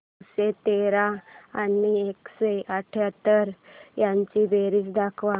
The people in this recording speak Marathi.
नऊशे तेरा आणि एकशे अठयाहत्तर यांची बेरीज दाखव